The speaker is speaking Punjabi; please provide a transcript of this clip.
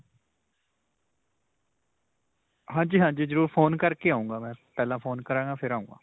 ਹਾਂਜੀ ਹਾਂਜੀ. ਜਰੁਰ phone ਕਰਕੇ ਆਉਂਗਾ ਮੈਂ. ਪਹਿਲਾਂ phone ਕਰਾਂਗਾ ਫੇਰ ਆਉਂਗਾ.